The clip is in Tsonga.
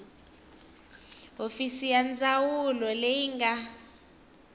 hofisi ya ndzawulo leyi nga